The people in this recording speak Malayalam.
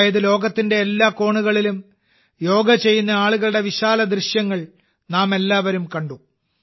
അതായത് ലോകത്തിന്റെ എല്ലാ കോണുകളിലും യോഗ ചെയ്യുന്ന ആളുകളുടെ വിശാലദൃശ്യങ്ങൾ നാമെല്ലാവരും കണ്ടു